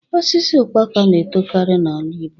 Osisi ukpaka na etokarị n'ala Igbo